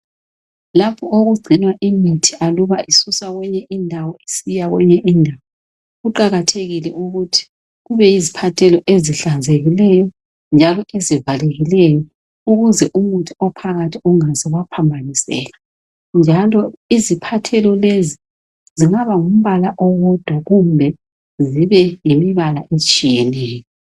Lapho okugcinwa imithi aluba isuswa kwenye indawo isiya kwenye indawo kuqakathekile ukuthi kube yiziphathelo ezihlanzekileyo njalo ezivalekileyo ukuze umuthi ophakathi ungaze waphambaniseka njalo iziphathelo lezi zingabangumbala owodwa kumbe zibe yimbala etshiyeneyo